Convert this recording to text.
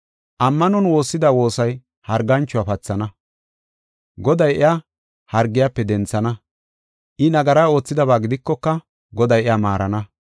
Ammanon woossida woosay harganchuwa pathana. Goday iya, hargiyafe denthana; I nagara oothidaba gidikoka Goday iya maarana.